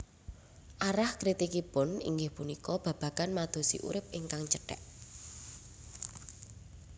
Arah kritikipun inggih punika babagan madosi urip ingkang cèthèk